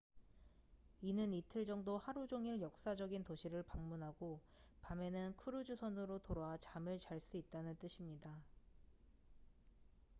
이는 이틀 정도 하루 종일 역사적인 도시를 방문하고 밤에는 크루즈 선으로 돌아와 잠을 잘 수 있다는 뜻입니다